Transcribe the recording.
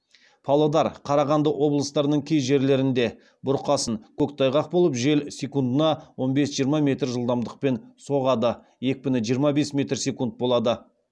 павлодар қарағанды облыстарының кей жерлерінде бұрқасын көктайғақ болып жел секундына он бес жиырма метр жылдамдықпен соғады екпіні жиырма бес метр секунд болады